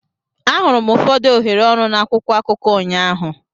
Ahụrụ m ụfọdụ ohere ọrụ na akwụkwọ akụkọ ụnyaahụ.